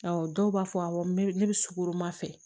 Awɔ dɔw b'a fɔ awɔ n bɛ ne bɛ sukoroma fɛ